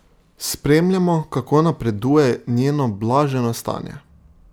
Spremljamo, kako napreduje njeno blaženo stanje.